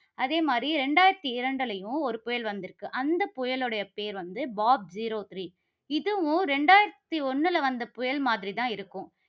அதே மாதிரி இரண்டாயிரத்தி இரண்டுலயும் ஒரு புயல் வந்து இருக்கு. அந்த புயலுடைய பெயர் வந்து பாப் zero three இதுவும் இரண்டாயிரத்து ஒண்ணுல வந்த புயல் மாதிரி தான் இருக்கும்